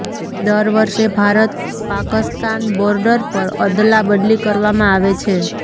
દર વર્ષે ભારત પાકસ્તાન બોર્ડર પર અદલાબદલી કરવામાં આવે છે